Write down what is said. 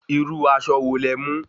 Irú aṣọ wo lẹ mú?